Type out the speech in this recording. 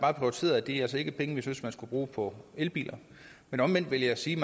bare prioriteret at det altså ikke er penge vi synes man skal bruge på elbiler men omvendt vil jeg sige